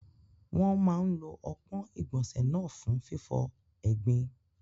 Wọ́n máa ń lo ọpọ́n ìgbọ̀nsẹ̀ náà fún fífọ egbin.